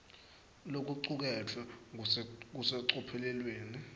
lokucuketfwe kusecophelweni